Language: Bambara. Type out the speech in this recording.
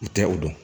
U tɛ o dɔn